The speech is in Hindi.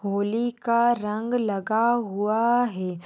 होली का रंग लगा हुआ है।